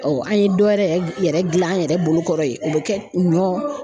Ɔ an ye dɔ wɛrɛ yɛrɛ gilan an yɛrɛ bolokɔrɔ ye o be kɛ ɲɔ